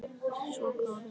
Svo góður var hann.